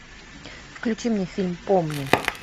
включи мне фильм помни